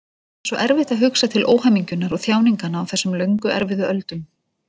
Það er svo erfitt að hugsa til óhamingjunnar og þjáninganna á þessum löngu erfiðu öldum.